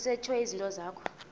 kusetshwe izinto zakho